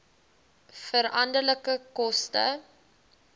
veranderlike koste